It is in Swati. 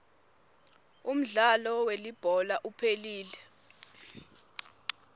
umdlalo welibhola uphelile